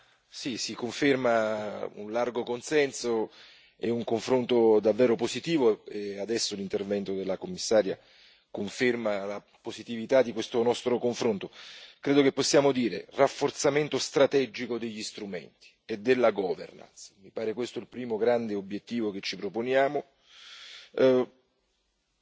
Signora Presidente, onorevoli colleghi, si conferma un largo consenso e un confronto davvero positivo. Adesso l'intervento della Commissaria conferma la positività di questo nostro confronto. Credo che possiamo dire che il rafforzamento strategico degli strumenti e della governance sia il primo grande obiettivo che ci proponiamo.